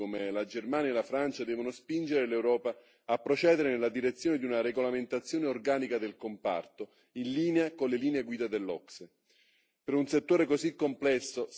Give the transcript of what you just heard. Le esperienze positive di alcuni Stati membri, come la Germania e la Francia, devono spingere l'Europa a procedere nella direzione di una regolamentazione organica del comparto, in linea con le linee guida dell'OCSE.